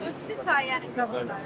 Biz sizin sayənizdə.